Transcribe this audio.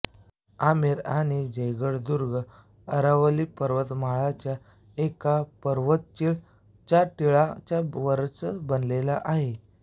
आमेर आणि जयगढ़ दुर्ग अरावली पर्वतमालाच्या एका पर्वत चील चा टीला च्या वरच बनलेले आहे